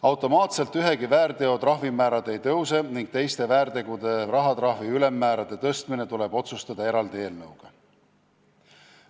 Automaatselt ühegi väärteo trahvimäärad ei tõuse ning teiste väärtegude eest määratava rahatrahvi ülemmäärade tõstmine tuleb otsustada eraldi eelnõuga.